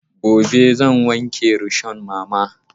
Gobe zan wanke rishon mama.